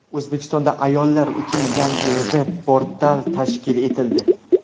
O‘zbekistonda ayollar uchun yangi veb-portal tashkil etildi.